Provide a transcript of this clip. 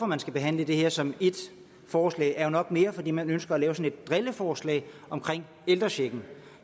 man skal behandle det her som ét forslag er nok mere er fordi man ønsker at lave et drilleforslag omkring ældrechecken